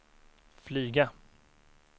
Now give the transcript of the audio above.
flyga